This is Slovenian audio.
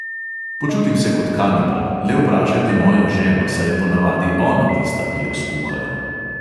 Počutim se kot kanibal, le vprašajte mojo ženo, saj je ponavadi ona tista, ki jo skuhajo.